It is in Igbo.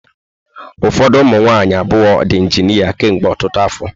Ụfọdụ ụmụ nwaanyị abụọ ndị injịnia kemgbe ọtụtụ afọ.